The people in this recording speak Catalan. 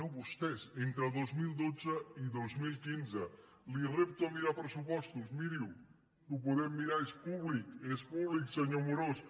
no vostès entre dos mil dotze i dos mil quinze el repto a mirar pressupostos miriho que ho podem mirar és públic és públic senyor amorós